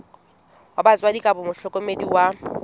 wa batswadi kapa mohlokomedi wa